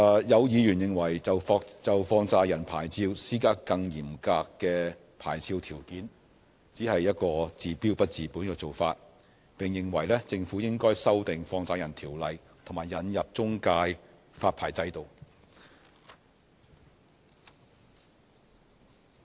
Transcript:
有議員認為就放債人牌照施加更嚴格的牌照條件，只是一個治標不治本的做法，並認為政府應該修訂《放債人條例》和引入中介發牌制度。